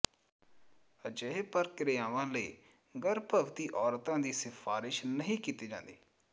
ਅਜਿਹੇ ਪ੍ਰਕਿਰਿਆਵਾਂ ਲਈ ਗਰਭਵਤੀ ਔਰਤਾਂ ਦੀ ਸਿਫ਼ਾਰਸ਼ ਨਹੀਂ ਕੀਤੀ ਜਾਂਦੀ